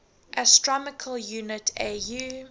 astronomical unit au